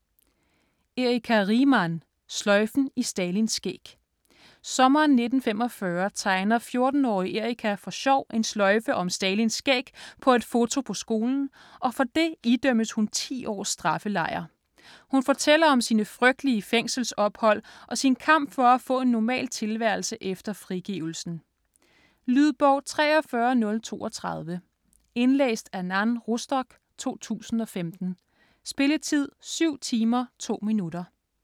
Riemann, Erika: Sløjfen i Stalins skæg Sommeren 1945 tegner 14-årige Erika for sjov en sløjfe om Stalins skæg på et foto på skolen, og for det idømmes hun 10 års straffelejr. Hun fortæller om sine frygtelige fængselsophold og sin kamp for at få en normal tilværelse efter frigivelsen. Lydbog 43032 Indlæst af Nan Rostock, 2015. Spilletid: 7 timer, 2 minutter.